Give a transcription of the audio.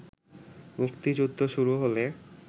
মুক্তিযুদ্ধ শুরু হলে